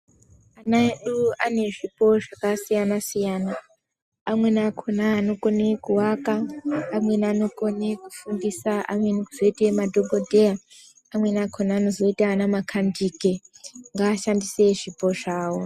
Ana edu ane zvipo zvakasiyana siyana amweni akhona anokone kuvaka amweni anokona kufundisa, amweni kuzoite madhokodheya, amweni kuzoite makandike ngaashandise zvipo zvawo.